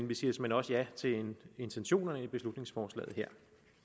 vi siger såmænd også ja til intentionerne i beslutningsforslaget her